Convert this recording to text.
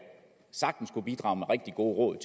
sagtens kunne bidrage med rigtig gode råd